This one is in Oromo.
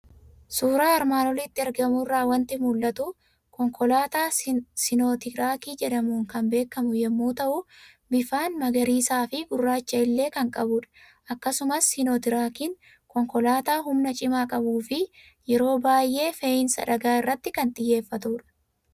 Suuraa armaan olitti argamu irraa waanti mul'atu; konkolaataa Siinotiraak jedhamuun kan beekamu yommuu ta'u, bifaan magariisafi gurraacha illee kan qabudha. Akkasumas Siinotiraakiin konkolaataa humna cimaaf qabufi yeroo baay'ee fe'insa dhagaa irratti kan xiyyeeffatudha.